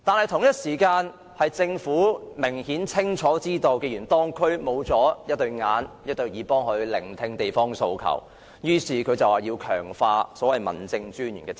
同時，政府清楚知道，既然地區缺乏眼睛和耳朵替它察看及聆聽地方訴求，於是便要強化民政事務專員的職責。